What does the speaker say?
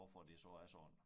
Hvorfor det så er sådan